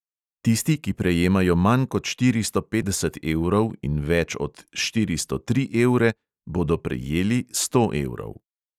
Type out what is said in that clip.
Tisti, ki prejemajo manj kot štiristo petdeset evrov in več od štiristo tri evre, bodo prejeli sto evrov.